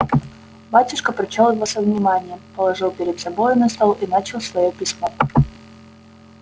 батюшка прочёл его со вниманием положил перед собою на стол и начал своё письмо